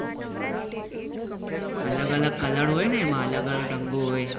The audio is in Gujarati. અલગ અલગ કલર હોય ને એમાં અલગ અલગ રંગો હોય